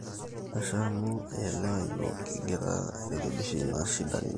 ashe amu ielewa yiok, kigira airekebisha ina shida ninoto